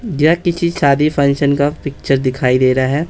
या किसी शादी फंक्शन का पिक्चर दिखाई दे रहा है।